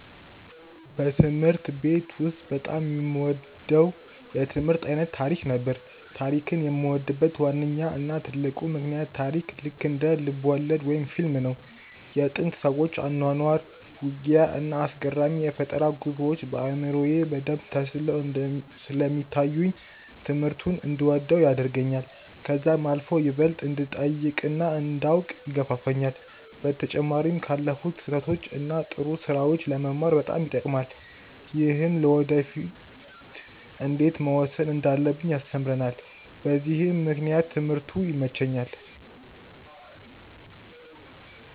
በትምህርት ቤት ውስጥ በጣም የምወደው የትምህርት አይነት ታሪክ ነበር። ታሪክን የምወድበት ዋነኛው እና ትልቁ ምክንያት ታሪክ ልክ እንደ ልብወለድ ወይም ፊልም ነው። የጥንት ሰዎች አኗኗር፣ ውጊያ፣ እና አስገራሚ የፈጠራ ጉዞዎች በአእምሮዬ በደንብ ተስለው ስለሚታዩኝ ትምህርቱን እንድወደው ያደርገኛል። ከዛም አልፎ ይበልጥ እንድጠይቅ እና እንዳውቅ ይገፋፋኛል። በተጨማሪም ካለፉት ስህተቶች እና ጥሩ ስራዎች ለመማር በጣም ይጠቅማል። ይህም ለወደፊ እንዴት መወሰን እንዳለብን ያስተምረናል በዚህም ምክንያት ትምህርቱ ይመቸኛል።